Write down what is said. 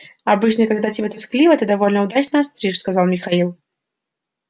обычно когда тебе тоскливо ты довольно удачно остришь сказал михаил